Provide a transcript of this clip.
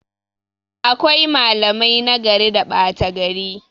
Akwai malamai nagari da ɓata gari